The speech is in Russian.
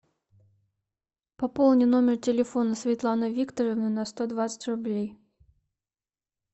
пополни номер телефона светланы викторовны на сто двадцать рублей